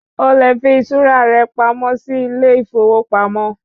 O lè fi iṣura rẹ pamọ́ sì ilé ìfowópamọ́